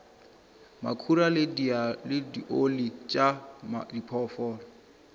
makhura le dioli tša diphoofolo